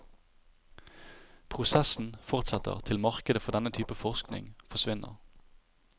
Prosessen fortsetter til markedet for denne type forsikring forsvinner.